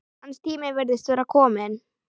Hans tími virðist vera kominn.